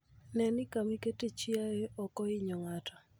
Ne ni kama iketoe chiayo ok ohinyo ng'ato.